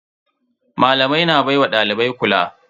Malamai na baiwa dalibai kula.